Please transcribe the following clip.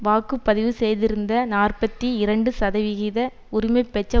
வாக்கு பதிவு செய்திருந்த நாற்பத்தி இரண்டு சதவிகித உரிமை பெற்ற